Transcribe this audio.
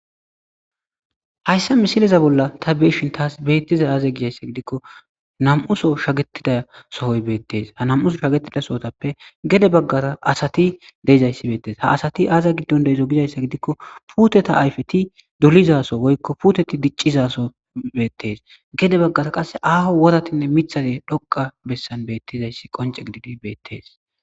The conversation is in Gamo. hayssa misiliza bolla ta beeshin taas beettiza aaze gizayssa gidikko nam7uso shagettida sohoy beettees ha nam7uso shagetida sohotappe gede baggara asati deeizayssi beettes ha asati aaza giddon deezo gizayssa gidikko puteta ayfeti dulizaso woykko puteti diccizaso beettes gede baggara qasse aaho woratinne mithade dhoqa bessan beettizayssi qonce gididi beettes